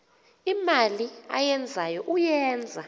imali ayenzayo uyenza